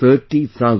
30 thousand